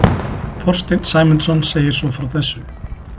Þorsteinn Sæmundsson segir svo frá þessu: